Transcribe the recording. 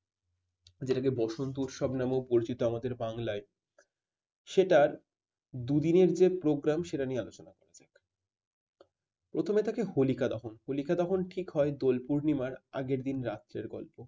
যেটাকে বসন্ত উৎসব নামেও পরিচিত আমাদের বাংলায় সেটার দুদিনের যে program সেটা নিয়ে আলোচনা করি। প্রথমে থাকে হোলিকা দহন হোলিকা দহন ঠিক হয় দোল পূর্ণিমার আগের দিন রাত্রের গল্প।